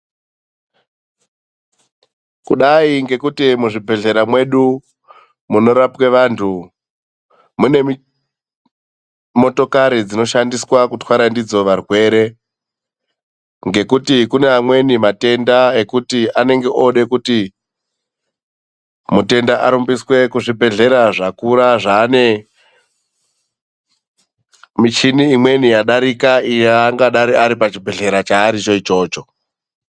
Kudai ngekuti muzvibhedhlera mwedu munorapwe vantu, mune motokari dzinoshandiswa kutwara ndidzo varwere. Ngekuti kune amweni matenda ekuti anenge oode kuti mutenda arumbiswe kuzvibhedhlera zvakura, zvaane michini imweni yadarika ingadai iripachibhedhlera chaaricho ichocho.